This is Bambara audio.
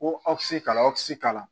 Ko awsisi t'a lakisi k'ala